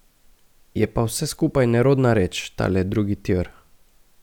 Je pa vse skupaj nerodna reč, tale drugi tir.